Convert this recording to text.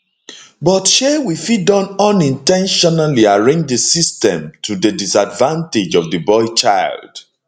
but shey we fit don unin ten tionally arrange di system to di disadvantage of di boy child